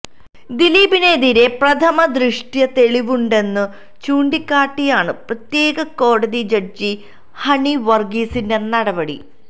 ദിലീപീനെതിരെ പ്രഥമ ദൃഷ്ട്യാ തെളിവുണ്ടെന്നു ചൂണ്ടിക്കാട്ടിയാണ് പ്രത്യേക കോടതി ജഡ്ജി ഹണി വര്ഗീസിന്റെ നടപടി